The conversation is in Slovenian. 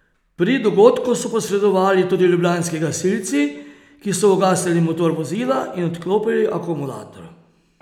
Pri dogodku so posredovali tudi ljubljanski gasilci, ki so ugasnili motor vozila in odklopili akumulator.